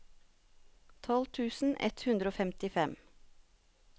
tolv tusen ett hundre og femtifem